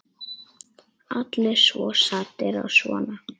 Allir svo saddir og svona.